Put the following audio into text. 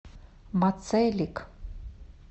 мацелик